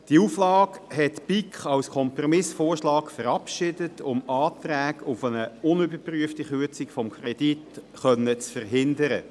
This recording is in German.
Diese Auflage hat die BiK als Kompromissvorschlag verabschiedet, um Anträge auf eine unüberprüfte Kürzung des Kredits zu verhindern.